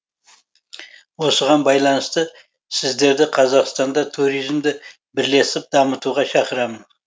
осыған байланысты сіздерді қазақстанда туризмді бірлесіп дамытуға шақырамын